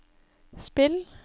spill